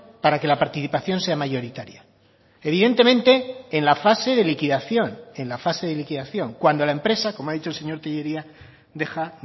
para que la participación sea mayoritaria evidentemente en la fase de liquidación en la fase de liquidación cuando la empresa como ha dicho el señor tellería deja